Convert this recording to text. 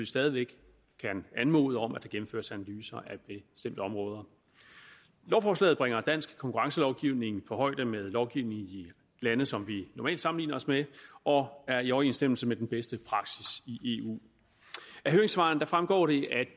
stadig væk kan anmode om at der gennemføres analyser af bestemte områder lovforslaget bringer dansk konkurrencelovgivning på højde med lovgivningen i lande som vi normalt sammenligner os med og er i overensstemmelse med den bedste praksis i eu af høringssvarene fremgår det at